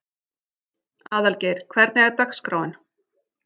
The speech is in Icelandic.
Aðalgeir, hvernig er dagskráin?